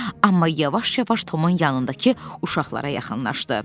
Amma yavaş-yavaş Tomun yanındakı uşaqlara yaxınlaşdı.